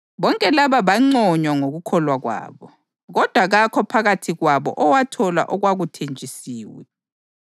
Bonke laba banconywa ngokukholwa kwabo, kodwa kakho phakathi kwabo owathola okwakuthenjisiwe.